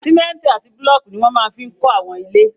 Sìmẹ́ntì àti búlọ̀kù ní wọ́n máa fi n kọ́ àwọn ilé